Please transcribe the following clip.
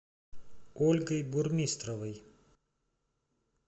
ольгой бурмистровой